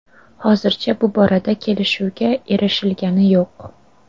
Hozircha bu borada kelishuvga erishilgani yo‘q.